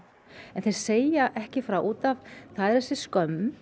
þeir segja ekki frá út af það er þessi skömm